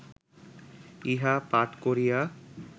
ইহা পাঠ করিয়া